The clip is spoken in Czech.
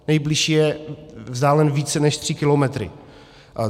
Nejbližší je vzdálen více než tři kilometry.